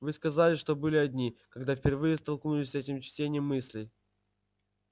вы сказали что были одни когда впервые столкнулись с этим чтением мыслей